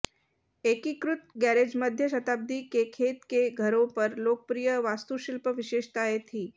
एकीकृत गैरेज मध्य शताब्दी के खेत के घरों पर लोकप्रिय वास्तुशिल्प विशेषताएं थीं